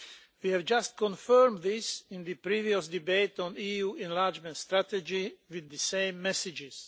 We have just confirmed this in the previous debate on EU enlargement strategy with the same messages.